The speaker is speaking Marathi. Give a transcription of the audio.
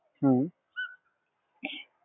हम्म